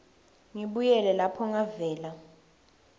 ngibuyele lapho ngavela